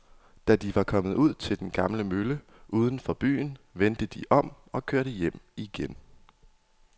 Da de var kommet ud til den gamle mølle uden for byen, vendte de om og kørte hjem igen.